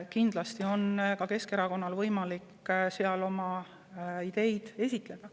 Kindlasti on ka Keskerakonnal võimalik siis oma ideid esitleda.